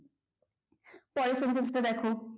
পরের sentence টা দেখো